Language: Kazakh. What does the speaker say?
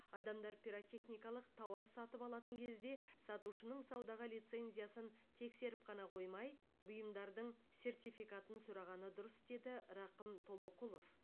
адамдар пиротехникалық тауар сатып алатын кезде сатушының саудаға лицензиясын тексеріп қана қоймай бұйымдардың сертификатын сұрағаны дұрыс деді рақым толоқұлов